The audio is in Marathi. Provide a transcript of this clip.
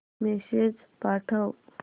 मेसेज पाठव